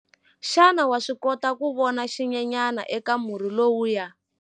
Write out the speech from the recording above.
Xana wa swi kota ku vona xinyenyana eka murhi lowuya?